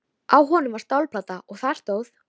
Á honum var stálplata og þar stóð: